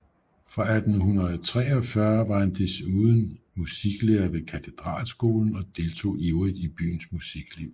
Fra 1843 var han desuden musiklærer ved Katedralskolen og deltog ivrigt i byens musikliv